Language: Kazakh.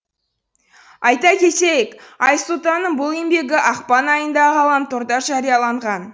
айта кетейік айсұлтанның бұл еңбегі ақпан айында ғаламторда жарияланған